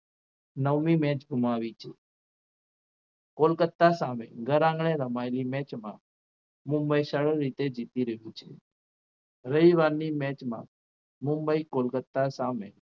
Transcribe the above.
નવમી match ગુમાવી છે કોલકત્તા સામે ઘર આંગણે રમાયેલી મેચમાં મુંબઈ સરળ રીતે જીતી રહ્યું છે રવિવારની match માં મુંબઈ કોલકત્તા સામે